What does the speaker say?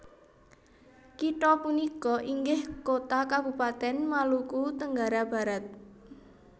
Kitha punika inggih kota kabupaten Maluku Tenggara Barat